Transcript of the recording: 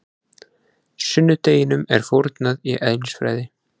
Sunnudeginum er fórnað í eðlisfræði.